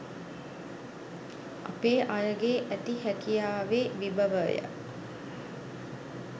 අපේ අයගේ ඇති හැකියාවේ විභවය